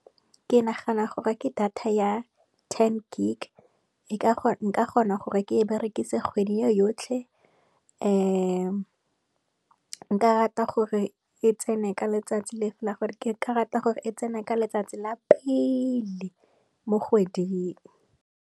Ke nagana gore ke data ya ten gig, e ka nka kgona gore ke e berekise kgwedi e yotlhe, nka rata gore e tsene ka letsatsi la pele mo kgweding.